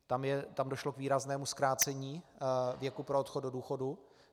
Tam došlo k výraznému zkrácení věku pro odchod do důchodu.